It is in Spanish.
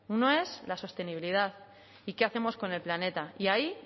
uno es la sostenibilidad y qué hacemos con el planeta y ahí